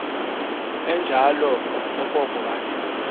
enjalo okoko wathi